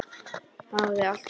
Hafði alltaf gott minni.